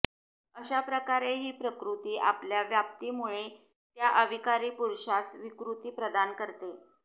अशाप्रकारे ही प्रकृती आपल्या व्याप्तीमुळे त्या अविकारी पुरूषास विकृती प्रदान करते